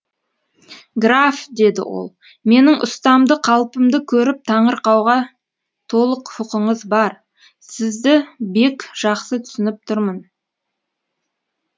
граф деді ол менің ұстамды қалпымды көріп таңырқауға толық құқыңыз бар сізді бек жақсы түсініп тұрмын